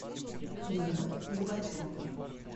римма губачева